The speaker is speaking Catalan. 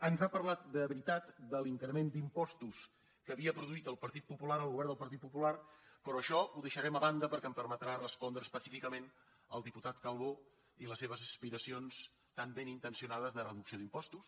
ens ha parlat de veritat de l’increment d’impostos que havia produït el partit popular el govern del partit popular però això ho deixarem a banda perquè em permetrà respondre específicament al diputat calbó i les seves aspiracions tan ben intencionades de reducció d’impostos